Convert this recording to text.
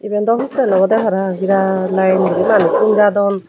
iban dw hostel obodey parapang birat line guri manuj gum jadon.